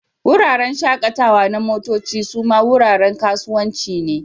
Wuraren shakatawa na motoci suma wuraren kasuwanci ne.